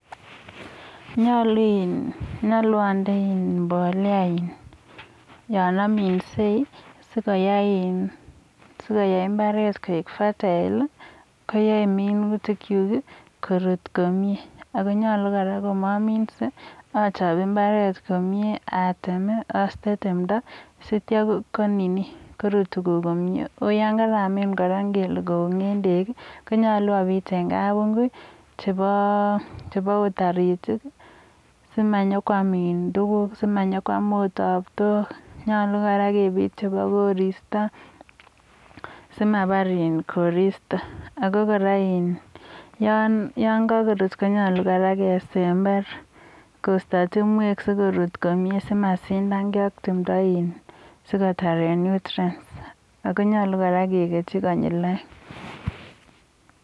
nyalu akoldo pospet mingutik chu sokochun mingutik komye akonyalu kora achap mbaret komye atem tumto sorut tukuk komye konyalu kora achen cheone taritik simaam taptok ako koristo yache kora kesember ngorut simasindange ako tumto ako nyolu keketyi konyil aeng.